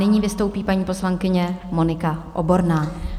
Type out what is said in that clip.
Nyní vystoupí paní poslankyně Monika Oborná.